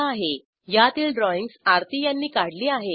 httpspoken tutorialorgNMEICT Intro यातील drawings अराठी यांनी काढली आहेत